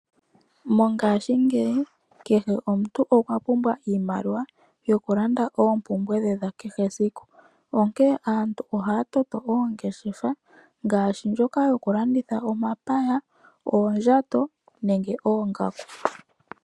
Mongashingeyi kehe omuntu okwa pumbwa iimaliwa yokulanda oopumbwe dhe dha kehe esiku. Onkee aantu oha ya toto oongeshefa ngaashi ndjoka yokulanditha omapaya, oondjato nenge oongaku.